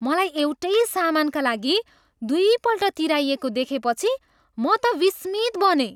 मलाई एउटै सामानका लागि दुईपल्ट तिराइएको देखेपछि म त विस्मित बनेँ।